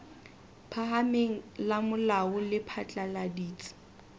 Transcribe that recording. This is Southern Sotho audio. phahameng la molao le phatlaladitse